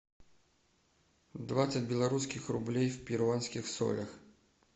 двадцать белорусских рублей в перуанских солях